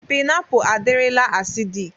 Pịnapụ adirila asidịk.